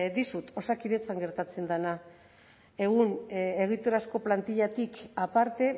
dizut osakidetzan gertatzen dena egun egiturazko plantillatik aparte